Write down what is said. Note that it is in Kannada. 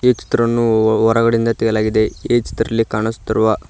ಈ ಚಿತ್ರನ್ನು ಹೊರಗಡೆಯಿಂದ ತೆಗೆಯಲಾಗಿದೆ ಈ ಚಿತ್ರದಲ್ಲಿ ಕಾಣಿಸುತ್ತಿರುವ--